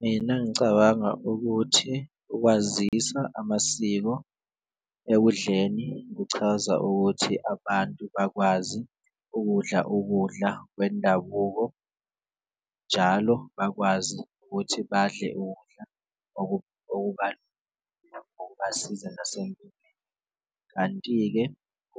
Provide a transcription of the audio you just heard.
Mina ngicabanga ukuthi ukwazisa amasiko ekudleni kuchaza ukuthi abantu bakwazi ukudla ukudla kwendabuko, njalo bakwazi ukuthi badle ukudla okubasiza . Kanti-ke